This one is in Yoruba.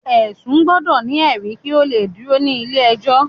ẹsun gbọdọ ni eri kí o le dúró ní ilé ẹjọ